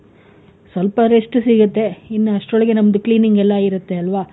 ಸ್ವಲ್ಪ rest ಸಿಗುತ್ತೆ, ಇನ್ನು ಅಸ್ಟ್ರೊಳಗೆ ನಮ್ದು cleaning ಎಲ್ಲ ಇರುತ್ತೆ ಅಲ್ವ?